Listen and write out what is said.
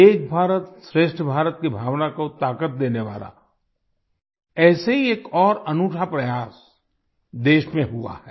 एक भारत श्रेष्ठ भारत की भावना को ताकत देने वाला ऐसे ही एक और अनूठा प्रयास देश में हुआ है